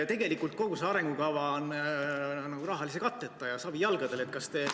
Tegelikult kogu see arengukava on nagu rahalise katteta ja savijalgadel.